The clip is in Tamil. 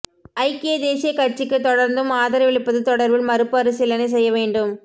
ஐக்கிய தேசிய கட்சிக்கு தொடர்ந்தும் ஆதரவளிப்பது தொடர்பில் மறுபரிசீலினை செய்ய வேண்டும்